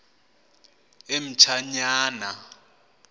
emtshanyana